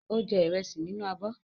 Ó jẹ ìrẹsì nínú abọ́.